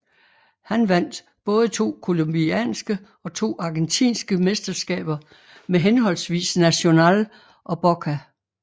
Han vandt både to colombianske og to argentinske mesterskaber med henholdsvis Nacional og Boca